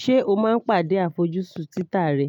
Ṣé o máa ń pàdé àfojúsùn títà rẹ?